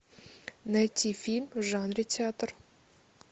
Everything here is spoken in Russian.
найти фильм в жанре театр